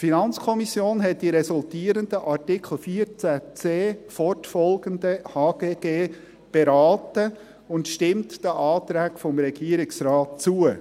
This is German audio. Die FiKo hat die resultierenden Artikel 14c fortfolgende HGG beraten und stimmt den Anträgen des Regierungsrates zu.